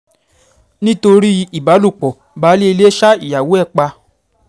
nítorí ìbálòpọ̀ baálé ilé ṣa ìyàwó ẹ̀ pa